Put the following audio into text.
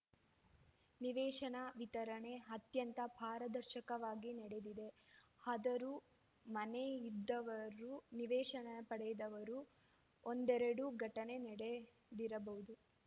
ನಿವೇಶನ ವಿತರಣೆ ಅತ್ಯಂತ ಪಾರದರ್ಶಕವಾಗಿ ನಡೆದಿದೆ ಆದರೂ ಮನೆ ಇದ್ದವರು ನಿವೇಶನ ಪಡೆದವರು ಒಂದೆರಡು ಘಟನೆ ನಡೆದಿರಬಹುದು